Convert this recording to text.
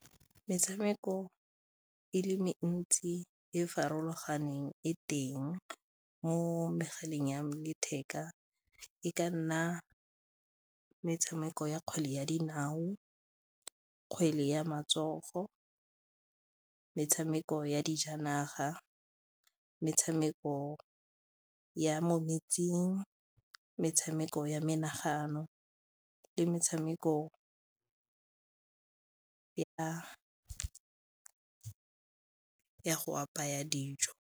Metshameko e le mentsi e farologaneng e teng mo megaleng ya letheka e ka nna metshameko ya kgwele ya dinao, kgwele ya matsogo, metshameko ya dijanaga, metshameko ya mo metsing, metshameko ya menagano le metshameko ya go apaya dijo.